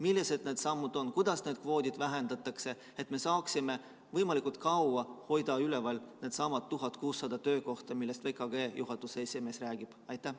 Millised need sammud on, kuidas neid kvoote vähendatakse, et me saaksime võimalikult kaua hoida alles neid 1600 töökohta, millest VKG juhatuse esimees räägib?